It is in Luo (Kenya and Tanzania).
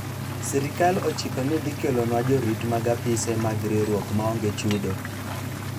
sirikal ochiko ni dhi kelonwa jorit mag apise mag riwruok maonge chudo